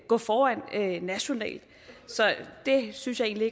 gå foran nationalt så det synes jeg